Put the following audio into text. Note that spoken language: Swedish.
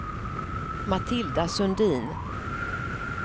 Matilda Sundin